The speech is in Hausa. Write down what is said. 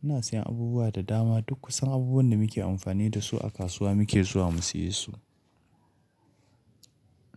Ina siyan abubuwa da dama. Duk kusan abubuwan da muke amfani da su a kasuwa muke zuwa mu siye su.